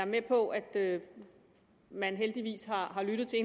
med på at man heldigvis har lyttet til